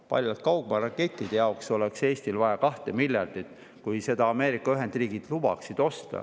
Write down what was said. Paljalt kaugmaarakettide jaoks oleks Eestil vaja 2 miljardit, kui Ameerika Ühendriigid lubaksid neid osta.